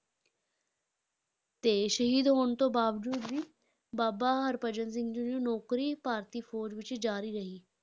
ਤੇ ਸ਼ਹੀਦ ਹੋਣ ਤੋਂ ਬਾਵਜੂਦ ਵੀ ਬਾਬਾ ਹਰਭਜਨ ਸਿੰਘ ਜੀ ਦੀ ਨੌਕਰੀ ਭਾਰਤੀ ਫ਼ੌਜ਼ ਵਿੱਚ ਜਾਰੀ ਰਹੀ।